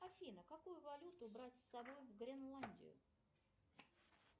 афина какую валюту брать с собой в гренландию